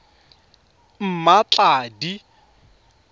mmatladi